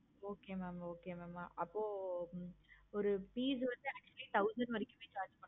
okay mam okay mam அப்போ ஒரு piece வந்து thousand வரைக்கும் charge பண்ணுவோம்